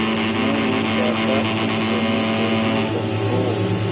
मैं नहीं चाहता इस शो में कोई भी कमी हो